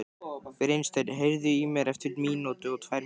Brynsteinn, heyrðu í mér eftir níutíu og tvær mínútur.